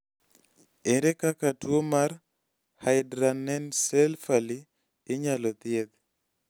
ere kaka tuwo mar hydranencephaly inyalo thiedh?